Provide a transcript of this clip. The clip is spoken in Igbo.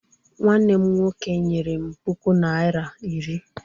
Nwannem nwoke nyere m puku naira iri.